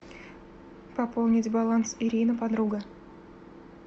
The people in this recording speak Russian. пополнить баланс ирина подруга